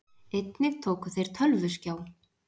Einnig tóku þeir tölvuskjá